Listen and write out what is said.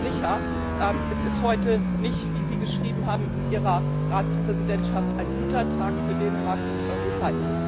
Ich bin sicher, es ist heute nicht wie Sie geschrieben haben in ihrer Ratspräsidentschaft ein guter Tag für Dänemark und Europa.